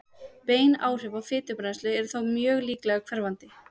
bein áhrif á fitubrennslu eru þó mjög líklega hverfandi